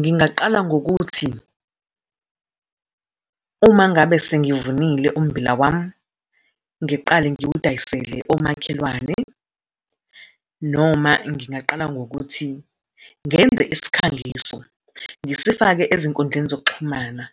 Ngingaqala ngokuthi uma ngabe sengivunile ummbila wami, ngiqale ngiwadayisele omakhelwane, noma ngingaqala ngokuthi ngenze isikhangiso, ngisifake ezinkundleni zokuxhumana,